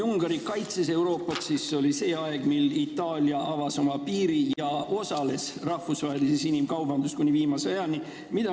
Ungari on Euroopat kaitsnud, Itaalia aga avas oma piiri ja osales rahvusvahelises inimkaubanduses kuni viimase ajani.